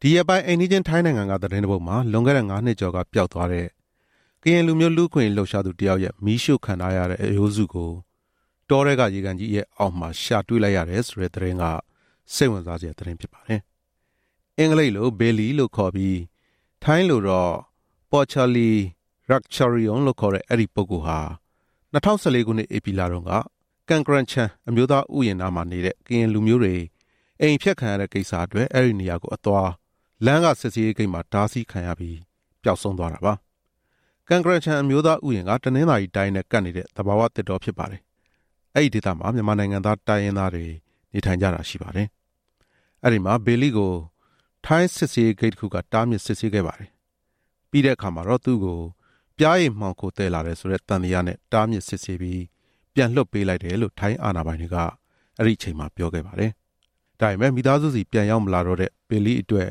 ဒီရက်ပိုင်း အိမ်နီးချင်း ထိုင်းနိုင်ငံက သတင်းတစ်ပုဒ်မှာ လွန်ခဲ့တဲ့ ငါးနှစ်ကျော်က ပျောက်သွားတဲ့ ကရင်လူမျိုး လူ့အခွင့်အရေး လှုပ်ရှားသူတစ်ယောက်ရဲ့ မီးရှို့ခံထားရတဲ့အရိုးစုကို တောထဲကရေကန်ကြီးရဲ့အောက်မှာ ရှာတွေ့လိုက်ရတယ်ဆိုတဲ့ သတင်းက စိတ်ဝင်စားစရာသတင်းဖြစ်ပါတယ်။ အင်္ဂလိပ်လို Billy လို့ခေါ်ပြီး ထိုင်းလို Por Cha Lee Rakcharoen လို့ခေါ်တဲ့ အဲဒီပုဂ္ဂိုလ်ဟာ ၂၀၁၄ ခုနှစ်ဧပြီလတုန်းက ကန်ကရန်ချန် အမျိုးသားဥယျာဉ်နားမှာနေတဲ့ ကရင်လူမျိုးတွေ အိမ်အဖျက်ခံရတဲ့ ကိစ္စအတွက် အဲဒီနေရာကိုအသွား လမ်းက စစ်ဆေးရေးဂိတ်မှာ တားဆီးစစ်ဆေးခံရပြီး ပျောက်ဆုံးသွားတာပါ။ ကန်ကရန်ချန် အမျိုးသားဥယျာဉ်က တနင်္သာရီတိုင်းနဲ့ ကပ်နေတဲ့သဘာဝတောဖြစ်ပါတယ်။ အဲဒီဒေသမှာ မြန်မာနိုင်ငံသား တိုင်းရင်းသားတွေ နေထိုင်ကြ တာရှိပါတယ်။ အဲဒီမှာ Billy ကို ထိုင်း စစ်ဆေးရေးဂိတ်တစ်ခုက တားမြစ်စစ်ဆေးခဲ့ပါတယ်။ ပြီးတဲ့အခါမှာတော့ သူ့ကို ပျားရည်မှောင်ခိုသယ်လာတယ်ဆိုတဲ့သံသယနဲ့ တားမြစ်စစ်ဆေးပြီး ပြန်လွှတ်ပေးလိုက်တယ်လို့ ထိုင်းအာဏာ ပိုင်တွေက အဲဒီအချိန်မှာပြောခဲ့ပါတယ်။ ဒါပေမဲ့ မိသားစုဆီ ပြန်ရောက်မလာတော့တဲ့ Billy အတွက်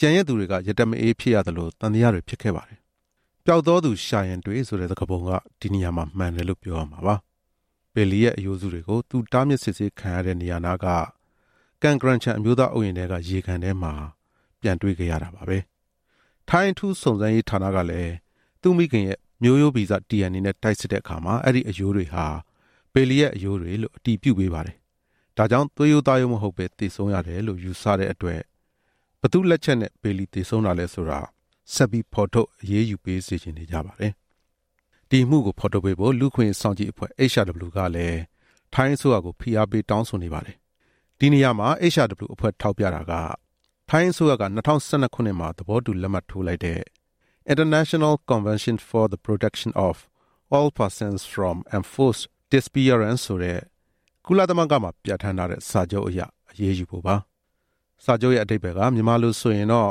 ကျန်ရစ်သူတွေ က ရတက်မအေးသလို သံသယတွေဖြစ်ခဲ့ပါတယ်။ ပျောက်သောသူရှာရင်တွေ့ဆိုတဲ့ စကားပုံကဒီနေရာမှာ မှန်တယ်လို့ပြောရမှာပါပဲ။ Billy ရဲ့ အရိုးစုတွေကို သူတားမြစ်စစ်ဆေးခံရတဲ့နေရာနားက ကန်ကရန်ချန် အမျိုးသားဥယျာဉ်ထဲက ရေကန်ထဲမှာပြန်တွေ့ခဲ့ရတာပါပဲ။ ထိုင်းအထူးစုံစမ်းရေးဌာနကလည်း သူ့မိခင်ရဲ့ မျိုးရိုးဗီဇ DNA နဲ့ တိုက်စစ်တဲ့အခါ အဲဒီအရိုးတွေဟာ Billy ရဲ့ အရိုးတွေလို့ အတည်ပြုပေးပါတယ်။ ဒါကြောင့် သွေးရိုးမဟုတ်ဘဲ သေဆုံးရတယ်လို့ ယူဆကြတဲ့အတွက် ဘယ်သူ့လက်ချက်နဲ့ Billy သေဆုံးတာလဲဆိုတာ ဆက်ပြီးဖော်ထုတ်ပေးစေချင် နေကြပါတယ်။ ဒီအမှုကိုဖော်ထုတ်ပေးဖို့ လူ့အခွင့်အရေးစောင့်ကြည့်အဖွဲ့ HRW ကလည်း ထိုင်းအစိုးရကို ဖိအားပေး တောင်းဆိုနေ ပါတယ်။ ဒီနေရာမှာ HRW အဖွဲ့ ထောက်ပြတာက ထိုင်းအစိုးရက ၂၀၁၂ ခုနှစ်မှာ သဘောတူလက်မှတ်ထိုးလိုက်တဲ့ International Convention for the Protection of All Persons from Enforced Disappearance ဆိုတဲ့ ကုလသမဂ္ဂမှာ ပြဌာန်းထားတဲ့ စာချုပ်အရအရေးယူဖို့ပါ။ စာချုပ်ရဲ့အဓိပ္ပါယ်က မြန်မာလိုဆိုရင်တော့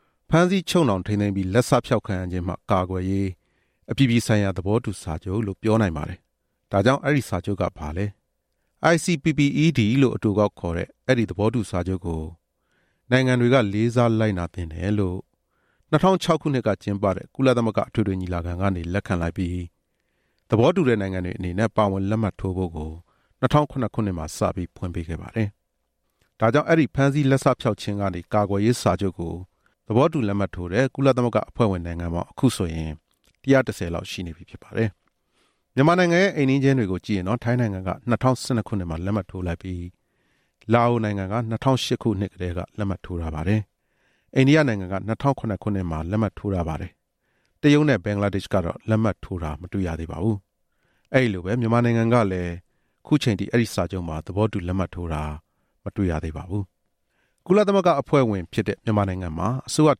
- ဖမ်းဆီးချုပ်နှောင်ထိန်းသိမ်းပြီး လက်စဖျောက်ခံရခြင်းမှ ကာကွယ်ရေး အပြည်ပြည်ဆိုင်ရာ သဘောတူစာချုပ်လို့ ပြောနိုင်ပါတယ်။ ဒါကြောင့် အဲဒီစာချုပ်က ဘာလဲ။ ICPPED လို့ အတိုကောက်ခေါ်တဲ့ အဲဒီသဘောတူစာချုပ်ကို နိုင်ငံတွေက လေးစားလိုက်နာသင့်တယ်လို့ ၂၀၀၆ ခုနှစ်ကကျင်းပတဲ့ ကုလသမဂ္ဂ အထွေထွေညီလာခံကနေ လက်ခံလိုက်ပြီး၊ သဘောတူတဲ့နိုင်ငံတွေအနေနဲ့ ပါဝင်လက်မှတ်ထိုးဖို့ ၂၀၀၇ ခုနှစ်စပြီး ဖွင့်ပေးခဲ့ပါတယ်။ ဒါကြောင့် အဲဒီ ဖမ်းဆီးလက်စဖျောက်ခြင်းမှ ကာကွယ်ရေးစာချုပ်ကို သဘောတူလက်မှတ်ထိုးတဲ့ ကုလသမဂ္ဂအဖွဲ့ဝင် နိုင်ငံပေါင်း ၁၁၀ ရှိနေပြီဖြစ်ပါတယ်။ မြန်မာနိုင်ငံရဲ့ အိမ်နီးချင်းတွေကိုကြည့်ရင်တော့ ထိုင်းနိုင်ငံက ၂၀၁၂ ခုနှစ်မှာ လက်မှတ်ထိုးလိုက်ပြီး၊ လာအိုနိုင်ငံက ၂၀၀၈ ခုနှစ်မှာ လက်မှတ်ထိုးထားပါတယ်။ အိန္ဒိယကတော့ ၂၀၀၇ ခုနှစ်မှာ လက်မှတ်ထိုးထားပါတယ်။ တရုတ်နဲ့ ဘင်္ဂလားဒေ့ရှ်က လက်မှတ်ထိုးတာ မတွေ့ရသေးသလို၊ မြန်မာနိုင်ငံကလည်း သဘောတူတာ မတွေ့ရသေးပါဘူး။ ကုလသမဂ္ဂအဖွဲ့ဝင်ဖြစ်တဲ့ မြန်မာနိုင်ငံမှာ အစိုးရ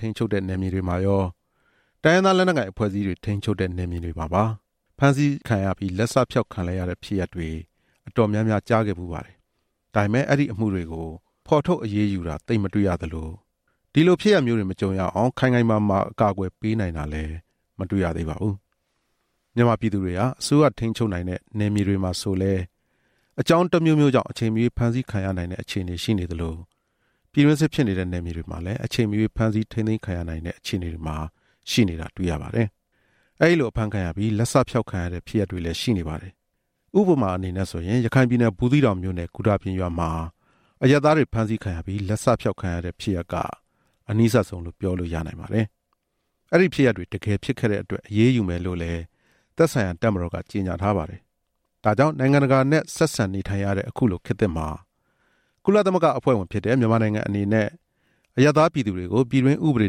ထိန်းချုပ်နိုင်တဲ့ နယ်မြေတွေမှာရော၊ တိုင်းရင်းသား လက်နက်ကိုင် အဖွဲ့အစည်းတွေ ထိန်းချုပ်ထားတဲ့ နယ်မြေတွေမှာပါ ဖမ်းဆီးခံရပြီး လက်စဖျောက်ခံလိုက်ရတဲ့ဖြစ်ရပ်တွေ အတော် များများရှိခဲ့ပါတယ်။ ဒါပေမဲ့ အဲဒီအမှုတွေကို ဖော်ထုတ်အရေးယူတာ သိပ်မတွေ့ရသလို၊ ဒီလိုဖြစ်ရပ်မျိုးတွေ မကြုံရအောင် ခိုင်ခိုင်မာမာ အကာအကွယ်ပေးနိုင်တာလည်း မတွေ့ရသေးပါဘူး။ မြန်မာပြည်သူတွေဟာ အစိုးရထိန်းချုပ်နိုင်တဲ့ နယ်မြေတွေမှာဆိုလည်း အကြောင်းတစ်မျိုးမျိုးကြောင့် အချိန်မရွေး ဖမ်းဆီးခံရနိုင်တဲ့ အခြေအနေရှိနေသလို၊ ပြည်တွင်းစစ်ဖြစ်နေတဲ့ နယ်မြေတွေမှာလည်း အချိန်မရွေး ဖမ်းဆီးထိန်း သိမ်းခံရနိုင်တဲ့ အခြေအနေမှာရှိနေတာ တွေ့ရပါတယ်။ အဲဒီလို အဖမ်းခံရပြီး လက်စဖျောက်ခံရတဲ့ ဖြစ်ရပ်တွေလည်း ရှိနေပါတယ်။ ဥပမာအနေနဲ့ဆိုရင် ရခိုင်ပြည်နယ် ဘူးသီးတောင်မြို့နယ် ဂူတာပြင်ရွာမှာ အရပ်သားတွေ ဖမ်းဆီးခံရပြီး လက်စဖျောက်ခံရတဲ့ဖြစ်ရပ်က အနီးစပ်ဆုံး ပြောလို့ရနိုင်ပါတယ်။ အဲဒီဖြစ်ရပ်တွေ တကယ်ဖြစ်ခဲ့တဲ့အတွက် အရေးယူမယ်လို့လည်း သက်ဆိုင်ရာ တပ်မတော်က ကြေညာထားပါတယ်။ ဒါကြောင့် နိုင်ငံတကာနဲ့ ဆက်ဆံနေထိုင်ရတဲ့ အခုလိုခေတ်သစ်မှာ ကုလသမဂ္ဂအဖွဲ့ဝင်ဖြစ်တဲ့ မြန်မာနိုင်ငံအနေနဲ့ အရပ်သားပြည်သူတွေကို ပြည်တွင်းဥပဒေ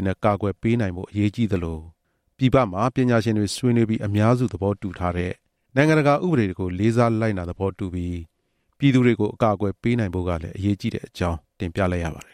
နဲ့ ကာကွယ်ပေးနိုင်ဖို့ အရေးကြီးသလို၊ ပြည်ပမှာ ပညာရှင်တွေဆွေးနွေးပြီး အများစုသဘောတူထားတဲ့ နိုင်ငံတကာဥပဒေတွေကို လေးစားလိုက်နာသဘောတူပြီး ပြည်သူတွေကို အကာအကွယ်ပေးနိုင်ဖို့ကလည်း အရေးကြီးတဲ့အကြောင်း တင်ပြလိုက်ရပါတယ်